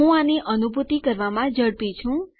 હું આની અનુભૂતિ કરવામાં ઝડપી છું